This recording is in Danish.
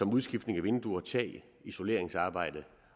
udskiftning af vinduer og tag isoleringsarbejde